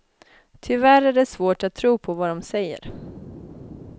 Tyvärr är det svårt att tro på vad de säger.